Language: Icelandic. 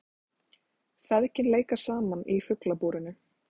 Feðgin leika saman í Fuglabúrinu